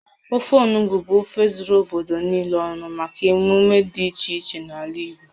Ofe onugbu bụ ofe zuru obodo niile ọnụ maka emume dị iche iche n'ala Igbo